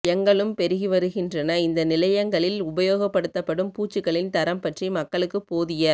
யங்களும் பெருகி வருகின்றன இந்த நிலையங்களில் உபயோகப்படுத்தப் படும் பூச்சுக்களின் தரம் பற்றி மக்களுக்குப் போதிய